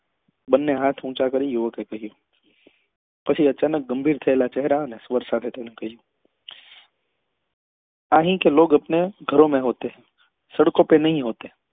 બંને હાથ ઊંચા કરી યુવક એ કહ્યું પછી અચાનક ગંભીર થયેલા ચહેરા સાથે કહ્યું અહી કે લોગ અપને ઘરો પે હોતે હૈ સડકો પે નહિ હોતે હૈ